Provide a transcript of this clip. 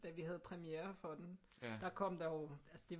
Da vi havde premiere for den der kom der jo altså det